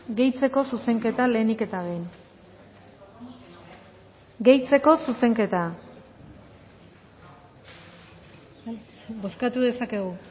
gehitzeko zuzenketa lehenik eta behin gehitzeko zuzenketa bozkatu dezakegu